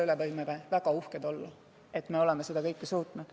Võime olla väga uhked, et oleme seda suutnud.